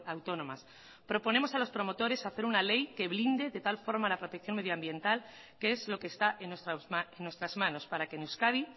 autónomas proponemos a los promotores una ley que blinde de tal forma la protección medio ambiental que es lo que está en nuestra manos para que en euskadi